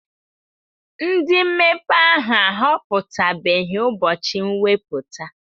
Ndị mmepe ahụ ahọpụtabeghị ụbọchị mwepụta.